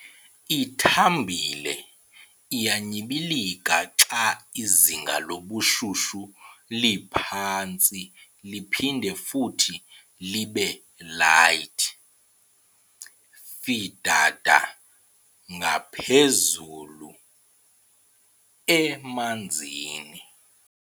Ithambile, iyanyibilika xa izinga lobushushu liphantsi liphinde futhi libe-light, fidada ngaphezulu e-manzini.